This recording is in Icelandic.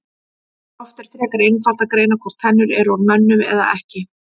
Oftast er frekar einfalt að greina hvort tennur eru úr mönnum eða ekki.